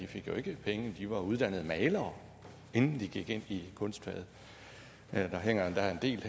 fik jo ikke penge de var uddannet malere inden de gik ind i kunstfaget der hænger endda en del af